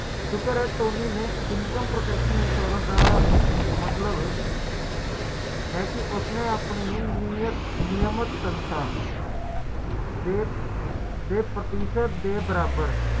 insurance ਸੱਤ ਵਾਰੀ ਬੀਮਾ ਕਰਾਉਂਦਾ ਹੈ